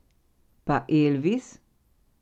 Pa Elvis?